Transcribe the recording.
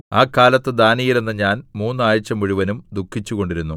ആ കാലത്ത് ദാനീയേൽ എന്ന ഞാൻ മൂന്ന് ആഴ്ച മുഴുവനും ദുഃഖിച്ചുകൊണ്ടിരുന്നു